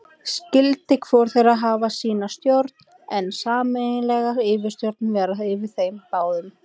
Skyldi hvor þeirra hafa sína stjórn, en sameiginleg yfirstjórn vera yfir þeim báðum.